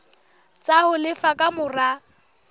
tsa ho lefa ka mora